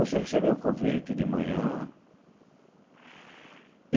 Você recebeu um convite de manhã.